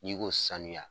N'i ko sanuya